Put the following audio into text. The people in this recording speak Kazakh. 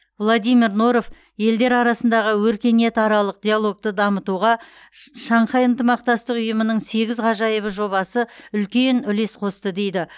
владимир норов елдер арасындағы өркениетаралық диалогты дамытуға шш шанхай ынтымақтастық ұйымының сегіз ғажайыбы жобасы үлкен үлес қосты дейді